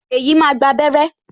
Feyi máa gba abere